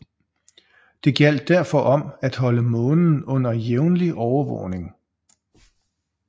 Det gjaldt derfor om at holde Månen under jævnlig overvågning